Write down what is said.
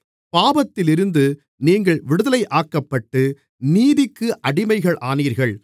பாவத்திலிருந்து நீங்கள் விடுதலையாக்கப்பட்டு நீதிக்கு அடிமைகளானீர்கள்